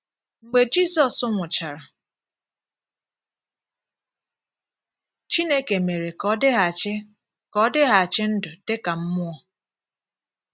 Mgbe Jizọs nwụchara, Chineke mére ka ọ dịghachi ka ọ dịghachi ndụ̀ dị ka mmụọ́.